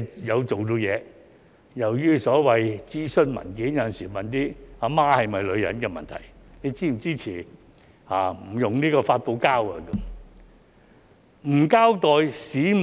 當局有時又在所謂諮詢文件問一些"阿媽是否女人"的問題——"你是否支持不使用發泡膠"，而不交代市民